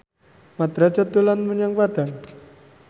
Mat Drajat dolan menyang Padang